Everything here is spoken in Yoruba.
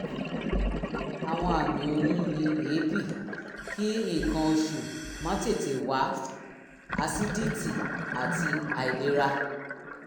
àwọn àmì oyún ni èébì kí nǹkan oṣù má tètè wá asídítì àti àìlera